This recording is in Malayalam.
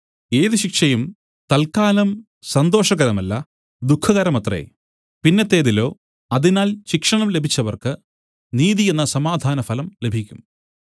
ഏത് ശിക്ഷയും തൽക്കാലം സന്തോഷകരമല്ല ദുഃഖകരമത്രേ പിന്നത്തേതിലോ അതിനാൽ ശിക്ഷണം ലഭിച്ചവർക്ക് നീതി എന്ന സമാധാനഫലം ലഭിക്കും